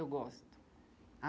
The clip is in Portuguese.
Eu gosto.